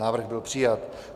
Návrh byl přijat.